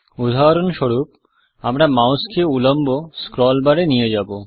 উদাহরণস্বরূপ আমরা মাউসকে উল্লম্ব স্ক্রল বার এ নিয়ে যাব